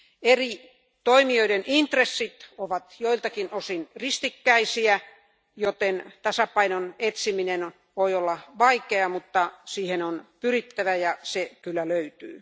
Eri toimijoiden intressit ovat joiltakin osin ristikkäisiä, joten tasapainon etsiminen voi olla vaikeaa, mutta siihen on pyrittävä ja se kyllä löytyy.